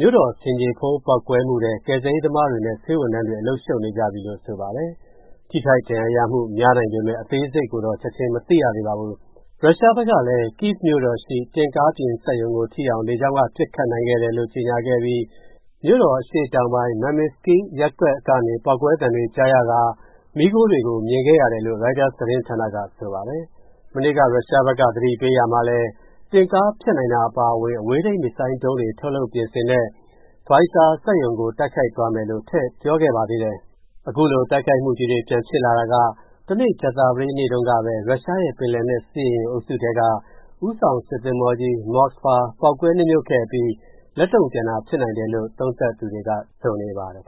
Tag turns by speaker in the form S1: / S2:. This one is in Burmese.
S1: မြို့တော် ဆင်ခြေဖုံး ပေါက်ကွဲမှုထဲ ကယ်ဆယ်ရေးသမားတွေနဲ့ ဆေးဝန်ထမ်းတွေ အလုပ်ရှုပ်နေကြပြီလို့ ဆိုပါတယ်။ ထိခိုက်ဒဏ်ရာရမှု များနိုင်ပေမဲ့ အသေးစိတ်ကိုတော့ ချက်ချင်းမသိရသေးပါဘူး။ ရုရှားဘက်ကလည်း Kyiv မြို့တော်ရှိ တင့်ကားပြင်စက်ရုံကို ထိအောင် လေကြောင်းက ပစ်ခတ်နိုင်တယ်လို့ ကြေညာခဲ့ပြီး မြို့တော် အရှေ့တောင်ပိုင်း Mamytskyi ရပ်ကွက်ကနေ ပေါက်ကွဲသံတွေကြားကာ မီးခိုးတွေကို မြင်ခဲ့ရတယ်လို့ ရိုက်တာသတင်းဌာနက ဆိုပါတယ်။ မနေ့က ရုရှားဘက်က သတိပေးရာမှာလည်း တင့်ကားဖျက်နိုင်တာ အပါအဝင် အဝေးထိန်း မစ်ဇိုင်းဒုံးတွေ ထုတ်လုပ်ပြင်ဆင်တဲ့ Vizar စက်ရုံကို တိုက်ခိုက်သွားမယ်လို့ ထည့်ပြောခဲ့ပါသေးတယ်။ အခုလို တိုက်ခိုက်မှုကြီးတွေ ပြန်ဖြစ်လာတာက တနေ့ ကြာသပတေးနေ့တုန်းကပဲ ရုရှားရဲ့ ပင်လယ်နက် စစ်ရေယာဉ်အုပ်စုထဲက ဦးဆောင်စစ်သင်္ဘောကြီး Moskva ပေါက်ကွဲနစ်မြုပ်ခဲ့အပြီး လက်တုံ့ပြန်တာ ဖြစ်နိုင်တယ်လို့ သုံးသပ်သူတွေက ဆိုနေပါတယ်